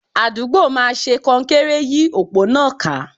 Àdúgbò máa ṣe kọnkéré yí òpó náà ká.